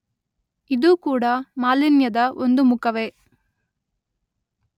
ಇದೂ ಕೂಡ ಮಾಲಿನ್ಯದ ಒಂದು ಮುಖವೇ.